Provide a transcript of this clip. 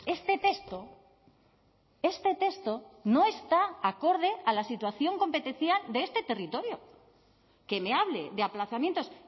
este texto este texto no está acorde a la situación competencial de este territorio que me hable de aplazamientos